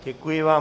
Děkuji vám.